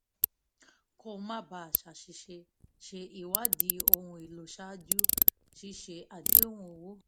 kó o má bàa ṣàṣìṣe ṣe ìwádìí ohun èlò ṣáájú ṣíṣe àdéhùn owó